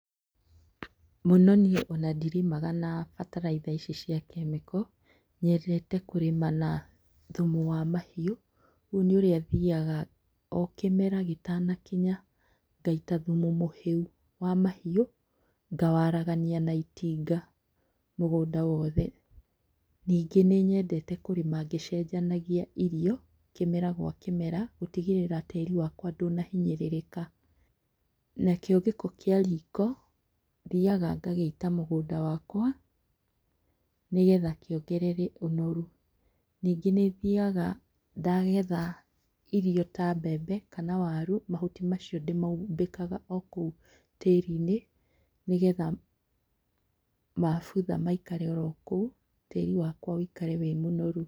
Mũno niĩ onandirĩmaga na bataraitha ici cia kemiko. Nyendete kũrĩma na thumu wa mahiũ. Rĩu nĩũrĩa thiaga o kĩmera gĩtanakinya, ngaita thumu mũhĩu wa mahiũ, ngawaragania na itinga mũgũnda wothe. Nyingĩ nĩnyendete kũrĩma ngĩcenjanagia irio kĩmera gwa kĩmera gũtigĩrĩra tĩĩri wakwa ndũnahinyĩrĩrĩka. Nakĩo gĩko kĩa riko, thiaga ngagĩita mũgũnda wakwa, nĩgetha kĩongerere ũnoru. Nyingĩ nĩthiaga ndagetha irio ta mbembe kana waru, mahuti macio ndĩmaumbĩkaga okũu tĩĩrinĩ nĩgetha mabutha maikare orokũu, tĩĩri wakwa wĩikare wĩmũnoru.